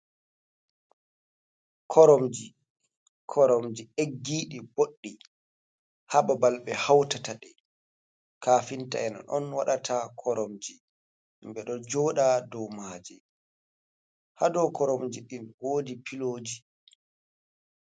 Koromji, koromji eggiɗi boɗɗi, hababal be hautata ɗe, kafinta en on waɗata koromji, himɓe ɗo joɗa dow maji hadow koromji ɗin wodi piloji.